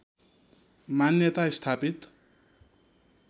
मान्यता स्थापित